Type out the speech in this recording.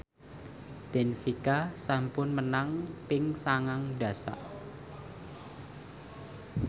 benfica sampun menang ping sangang dasa